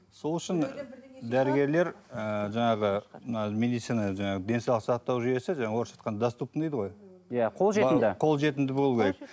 сол үшін дәрігерлер ы жаңағы мына медицина жаңағы денсаулық сақтау жүйесі жаңағы орысша айтқанда доступный дейді ғой иә қолжетімді қолжетімді болуы керек